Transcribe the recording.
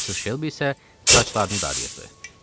Missis Şelbi isə saçlarını darayırdı.